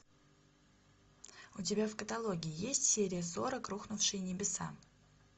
у тебя в каталоге есть серия сорок рухнувшие небеса